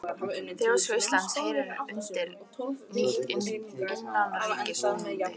Þjóðskrá Íslands heyrir undir nýtt innanríkisráðuneyti